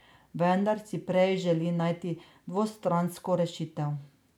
Vendar si prej želi najti dvostransko rešitev.